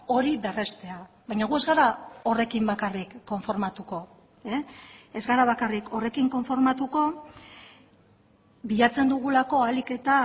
hori berreztea baina gu ez gara horrekin bakarrik konformatuko ez gara bakarrik horrekin konformatuko bilatzen dugulako ahalik eta